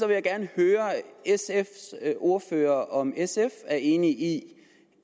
jeg gerne høre sfs ordfører om sf er enig i